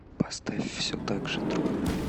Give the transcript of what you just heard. поставь все так же трое